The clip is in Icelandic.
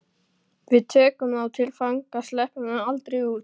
Við tökum þá til fanga. sleppum þeim aldrei út.